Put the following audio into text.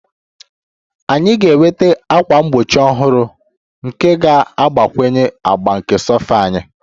Anyị ga-enweta ákwà mgbochi ọhụrụ nke ga-agbakwunye agba nke sofa anyị